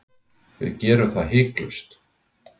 Við gerum það hiklaust